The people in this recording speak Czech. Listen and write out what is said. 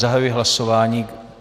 Zahajuji hlasování.